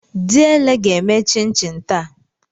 Diele ga-eme chin chin taa.